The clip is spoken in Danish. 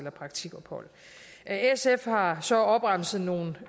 et praktikophold sf har så opremset nogle